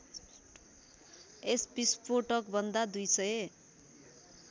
यस विस्फोटकभन्दा २००